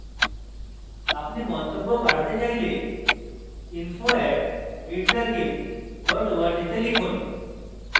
আপনি মন্তব্য পাঠাতে চাইলে info @meetthegimp org তে লিখুন